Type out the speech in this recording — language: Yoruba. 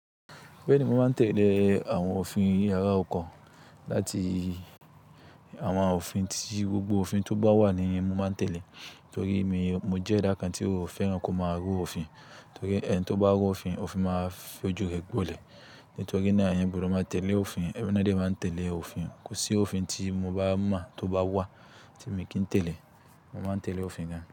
Beeni mo máa ń tẹ̀lẹ́ àwon òfin yàrá ọkọ̀ láti àwon òfin tí gbogbo òfin to bá wà ní mo máa ń tẹ̀lẹ́. Nítorí mi, mo jẹ́ ẹ̀dà kan tí ó fẹ́ràn kó máa ru òfin. Torí e ẹni tó bá ru òfin, òfin máa fojú rẹ gbọ̀lẹ. Nítorí náà eyan gbodo máa tẹ̀lẹ́ òfin, ẹmi ná dẹ máa ń tẹ̀lẹ́ òfin. Kò sí òfin tí mo bá mọ́ tó bá wà tí mi kí ń tẹ̀lẹ́, mo máa ń tẹ̀lẹ́ òfin gan.